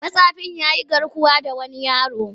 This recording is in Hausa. Matsafin ya yi garkuwa da wani yaro.